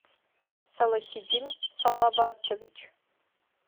салахитдин салаватович